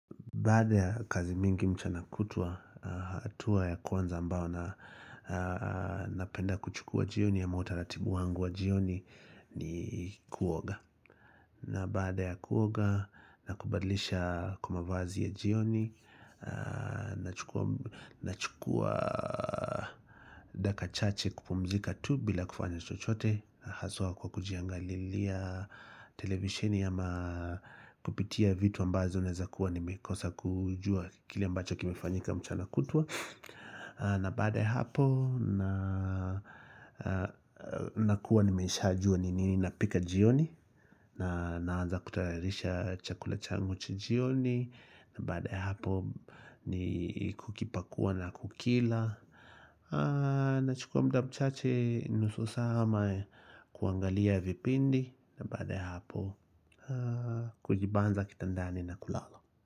Baada ya kazi mingi mchana kutwa, hatua ya kwanza ambayo na napenda kuchukua jioni ama utaratibu wangu wa jioni ni kuoga. Na baada ya kuoga, na kubadilisha kwa mavazi ya jioni, nachukua dakika chache kupumzika tu bila kufanya chochote haswa kwa kujiangalilia televishini ama kupitia vitu ambazo naweza kuwa nimekosa kujua kile ambacho kimefanyika mchana kutwa na baada ya hapo na nakuwa nimeshaju ni nini napika jioni Naanza kutayarisha chakula changu cha jioni na baada ya hapo ni kukipakua na kukila nachukua muda mchache nusu saa ama kuangalia vipindi na baada ya hapo kujibanza kitandani na kulala.